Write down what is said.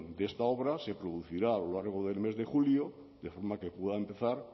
de esta obra se producirá a lo largo del mes de julio de forma que pueda empezar